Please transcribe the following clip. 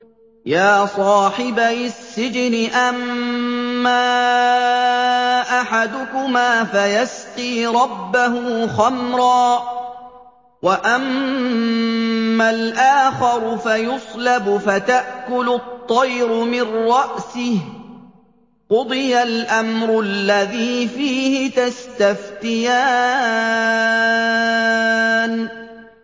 يَا صَاحِبَيِ السِّجْنِ أَمَّا أَحَدُكُمَا فَيَسْقِي رَبَّهُ خَمْرًا ۖ وَأَمَّا الْآخَرُ فَيُصْلَبُ فَتَأْكُلُ الطَّيْرُ مِن رَّأْسِهِ ۚ قُضِيَ الْأَمْرُ الَّذِي فِيهِ تَسْتَفْتِيَانِ